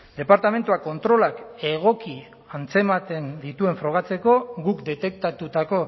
departamentua kontrolak egoki antzematen dituen frogatzeko guk detektatutako